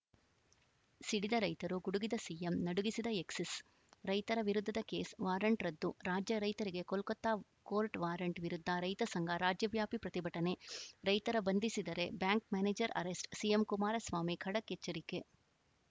ಸಿಡಿದ ರೈತರು ಗುಡುಗಿದ ಸಿಎಂ ನಡುಗಿದ ಎಕ್ಸಿಸ್‌ ರೈತರ ವಿರುದ್ಧದ ಕೇಸ್‌ ವಾರಂಟ್‌ ರದ್ದು ರಾಜ್ಯ ರೈತರಿಗೆ ಕೋಲ್ಕತಾ ಕೋರ್ಟ್‌ ವಾರಂಟ್‌ ವಿರುದ್ಧ ರೈತಸಂಘ ರಾಜ್ಯವ್ಯಾಪಿ ಪ್ರತಿಭಟನೆ ರೈತರ ಬಂಧಿಸಿದರೆ bank manager arrest CM Kumaraswamy ಖಡಕ್‌ ಎಚ್ಚರಿಕೆ